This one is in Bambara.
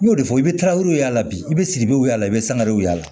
N y'o de fɔ i bɛ taa yɔrɔ y'a la bi i bɛ sigi bɛ y'a la i bɛ sangarew y'a la